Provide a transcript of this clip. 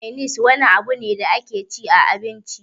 Mainis wani abu ne da ake cin abinci dashi